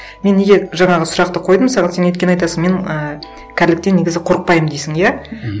мен неге жаңағы сұрақты қойдым саған сен өйткені айтасың мен ііі кәріліктен негізі қорықпаймын дейсің иә